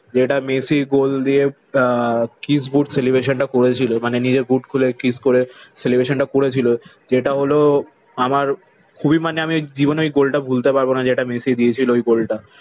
যেটা Messi goal দিয়ে আহ kiss boot celebration টা করেছিল। মানে নিজের বুট খুলে কিস করে সেলেব্রেশন টা করেছিল, যেটা হলো আমার খুবই মানে আমি জীবনে ওই গোলটা ভুলতে পারবো না যেটা মেসি দিয়েছিল ওই গোল টা।